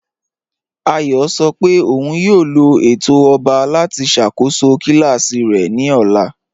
Àyọ̀ sọ́ pé ọ̀un yóò lọ̀ ètò ọ̀ba láti ṣakóṣọ́ kílàsí rẹ̀ ni ọ̀là.